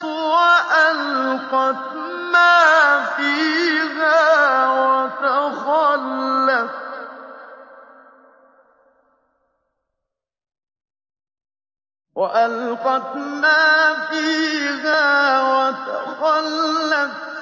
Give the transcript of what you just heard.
وَأَلْقَتْ مَا فِيهَا وَتَخَلَّتْ